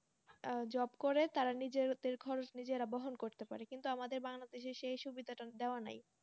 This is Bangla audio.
আহ job করে। তারা নিজেদের খরচ নিজেরা বহন করতে পারে। কিন্তু আমাদের বাংলাদেশে সেই সুবিধা টা দেওয়া নেই।